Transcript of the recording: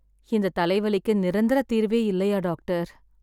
இந்த தலைவலிக்கு நிரந்தர தீர்வே இல்லையா டாக்டர்?